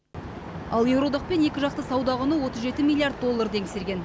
ал еуроодақпен екіжақты сауда құны отыз жеті миллиард долларды еңсерген